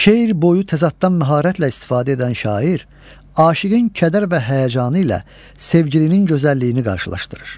Şeir boyu təzaddan məharətlə istifadə edən şair, aşiqin kədər və həyəcanı ilə sevgilinin gözəlliyini qarşılaşdırır.